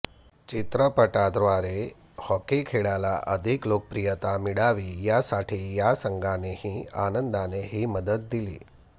चित्रपटाद्वारे हॉकी खेळाला अधिक लोकप्रियता मिळावी यासाठी या संघानेही आनंदाने ही मदत दिली